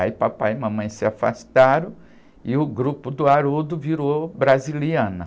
Aí papai e mamãe se afastaram e o grupo do Haroldo virou Brasiliana.